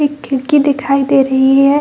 एक खिड़की दिखाई दे रही है।